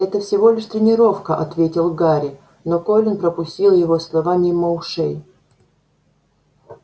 это всего лишь тренировка ответил гарри но колин пропустил его слова мимо ушей